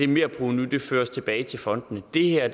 merprovenu føres tilbage til fondene det her